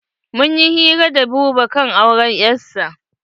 Mun yi hira da Buba kan auren 'yasa.